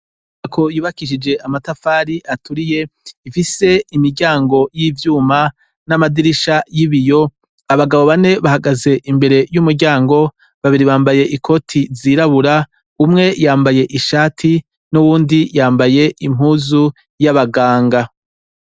Inyubako yubakishije amatafari aturiye, ifise imiryango y'ivyuma n'amadirisha y'ibiyo. Abagabo bane bahagaze imbere y'umuryango, babiri bambaye ikoti zirabura, umwe yambaye ishati, n'uwundi yambaye impuzu y'abaganga.